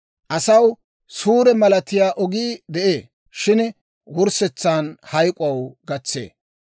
Asaw suure malatiyaa ogii de'ee; shin wurssetsan hayk'k'oo gatsee.